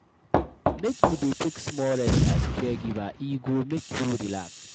Make you dey take small rest as caregiver, e go make you relax.